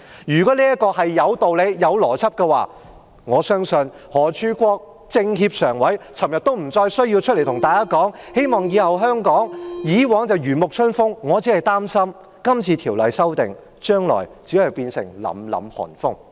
如果修例有道理、有邏輯，我相信全國政協常委何柱國昨天也不需要出來對大家說，希望香港以後......以往是如沐春風，我擔心修例後，將來只會變成凜凜寒風。